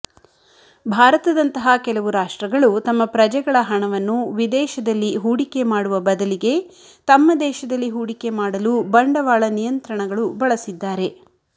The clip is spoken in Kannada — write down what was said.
ಭಾರತದಂತಹ ಕೆಲವು ರಾಷ್ಟ್ರಗಳು ತಮ್ಮ ಪ್ರಜೆಗಳ ಹಣವನ್ನು ವಿದೇಶದಲ್ಲಿ ಹೂಡಿಕೆಮಾಡುವ ಬದಲಿಗೆ ತಮ್ಮ ದೇಶದಲ್ಲಿ ಹೂಡಿಕೆಮಾಡಲು ಬಂಡವಾಳ ನಿಯಂತ್ರಣಗಳು ಬಳಸಿದ್ದಾರೆ